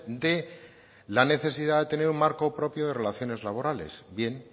de la necesidad de tener un marco propio de relaciones laborales bien